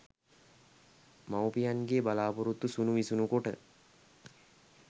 මවුපියන්ගේ බලාපොරොත්තු සුණු විසුණු කොට